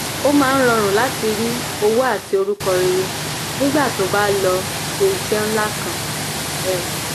ó máa ń rọrùn láti rí owó àti orúkọ rere nígbà tó o bá lọ ṣe iṣẹ́ ńlá kan um